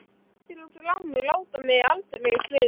Grettir og Glámur láta mig aldrei í friði.